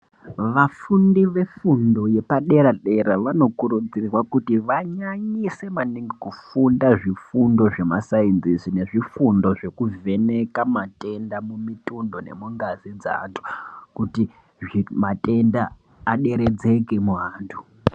Vafundi vefundo yepadera-dera vanokurudzirwa kuti vanyanyise maningi kuti vafunde ,zvifundo zvemasainzisi nezvifundo zveku vheneka matenda mimitundo nemingazi dzaanhu kuti matenda aderekedzeke muantu.